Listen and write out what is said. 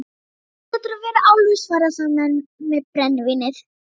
Sjálfur geturðu verið álfur, svaraði sá með brennivínið.